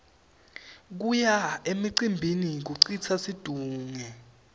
kuya emcimbini kucitsa situnge